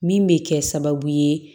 Min bɛ kɛ sababu ye